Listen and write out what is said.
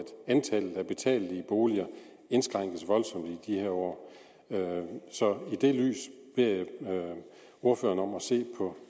antallet af betalelige boliger indskrænkes voldsomt i de her år så jeg beder ordføreren om at se på